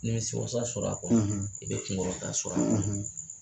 Nimisiwasa sɔrɔ a kɔnɔ i bɛ kunkɔrɔta sɔrɔ a kɔnɔ